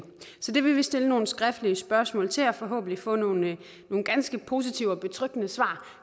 så det vil vi stille nogle skriftlige spørgsmål til vil forhåbentlig få nogle ganske positive og betryggende svar